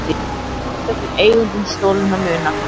Lýst eftir eigendum stolinna muna